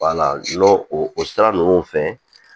n'o o sira ninnu fɛ